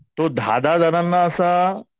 तो दहा दहा जणांना असा